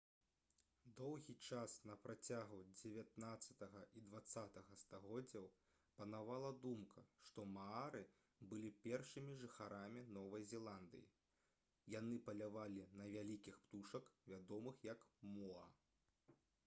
доўгі час на працягу дзевятнаццатага і дваццатага стагоддзяў панавала думка што маары былі першымі жыхарамі новай зеландыі яны палявалі на вялікіх птушак вядомых як моа